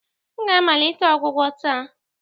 M ga-amalite ọgwụgwọ taa